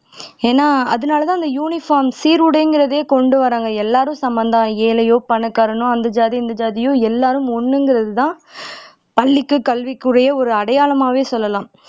ஏன்னா அதுனாலதான் அந்த யூனிபார்ம் சீருடைங்கிறதே கொண்டுவர்றாங்க எல்லாரும் சமம்தான் ஏழையோ பணக்காரனோ அந்த ஜாதி இந்த ஜாதியோ எல்லாரும் ஒண்ணுங்கிறதுதான் பள்ளிக்கு கல்விக்குரிய ஒரு அடையாளமாவே சொல்லலாம்